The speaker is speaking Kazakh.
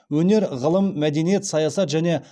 өнер ғылым мәдениет саясат және